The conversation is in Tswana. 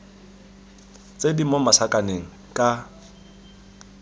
tse di mo masakaneng ka